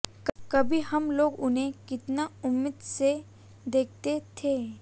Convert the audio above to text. कभी हम लोग उन्हें कितना उम्मीद से देखते थे